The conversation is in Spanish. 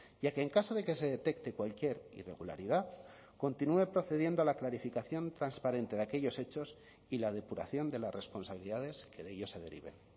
ya que en caso de que se detecte cualquier irregularidad continúe procediendo a la clarificación transparente de aquellos hechos y la depuración de las responsabilidades que de ellos se deriven